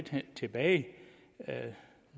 tilbage